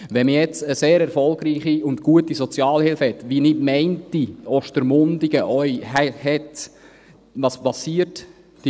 Wenn man nun eine sehr gute und erfolgreiche Sozialhilfe hat, wie – so denke ich –Ostermundigen eine hat, was geschieht dann?